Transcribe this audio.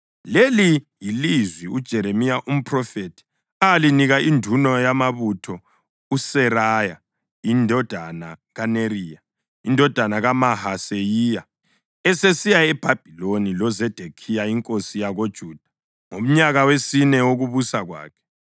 Leli yilizwi uJeremiya umphrofethi alinika induna yamabutho uSeraya indodana kaNeriya, indodana kaMahaseyiya, esesiya eBhabhiloni loZedekhiya inkosi yakoJuda ngomnyaka wesine wokubusa kwakhe.